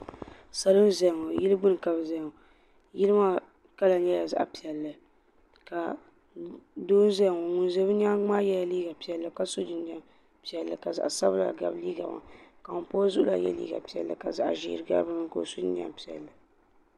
Salo n zaya ŋɔ yili gbini ka bɛ zaya ŋɔ yili maa kala nyɛla zaɣa piɛlli doo n ʒɛya ŋɔ ŋun ʒɛ o nyaanga maa yɛla liiga piɛlli ka zaɣa sabila gabi liiga maani ka ŋun pa o zuɣu la yɛ liiga piɛlli ka zaɣa ʒee gabi dinni ka o so jinjiɛm piɛlli.